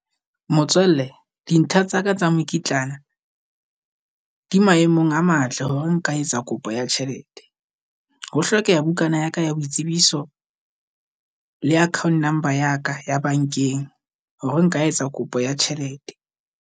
Motswalle dintlha tsa ka tsa mekitlana di maemong a matle hore nka etsa kopo ya tjhelete. Ho hlokeha bukana ya ka ya boitsebiso le account number ya ka ya bankeng, hore nka etsa kopo ya tjhelete.